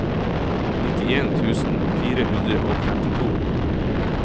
nittien tusen fire hundre og femtito